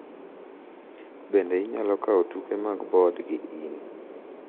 Bende inyalo kawo tuke mag board gi in